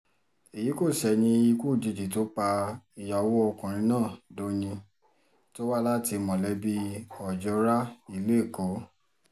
èyí kò ṣẹ̀yìn ikú òjijì tó pa ìyàwó ọkùnrin náà dọ́yìn tó wá láti mọ̀lẹ́bí ojora ìlú èkó